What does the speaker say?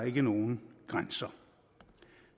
ikke nogen grænser